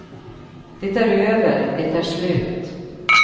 Det är över, det är slut.